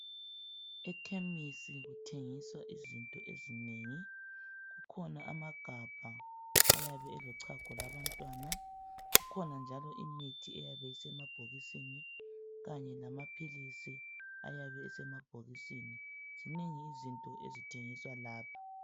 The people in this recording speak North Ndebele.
Ekhemisi kutsengiswa izinto ezinengi kukhona amagabha ayabe elochago lwabantwana kukhona njalo imithi eyabe isemabhokisini kanye lamaphilisi ayabe esemabhokisini zinengi izinto ezithengiswa lapha.